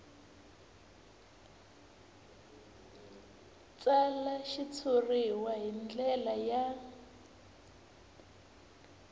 tsala xitshuriwa hi ndlela ya